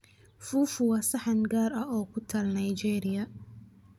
Fufu waa saxan gaar ah oo ku taal Nigeria